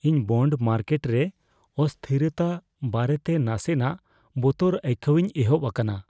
ᱤᱧ bond market ᱨᱮ ᱚᱥᱛᱷᱤᱨᱚᱛᱟ ᱵᱟᱨᱮᱛᱮ ᱱᱟᱥᱮᱱᱟᱜ ᱵᱚᱛᱚᱨ ᱟᱹᱭᱠᱟᱹᱣᱤᱧ ᱮᱦᱚᱵ ᱟᱠᱟᱱᱟ ᱾